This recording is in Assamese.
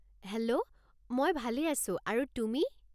হেল্ল', মই ভালে আছো আৰু তুমি?